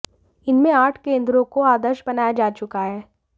इनमें आठ केंद्रों को आदर्श बनाया जा चुका है